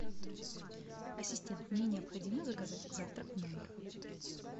ассистент мне необходимо заказать завтрак в номер